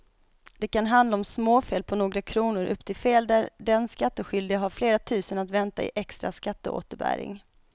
Det kan handla om småfel på några kronor upp till fel där den skattskyldige har flera tusen att vänta i extra skatteåterbäring.